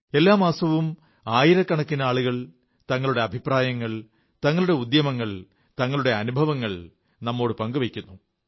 എല്ലാ മാസവും ആയിരക്കണക്കിന് ആളുകൾ തങ്ങളുടെ അഭിപ്രായങ്ങൾ തങ്ങളുടെ ശ്രമങ്ങൾ തങ്ങളുടെ അനുഭവങ്ങൾ നമ്മോടു പങ്കു വയ്ക്കുന്നു